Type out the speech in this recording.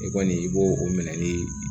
E kɔni i b'o o minɛ ni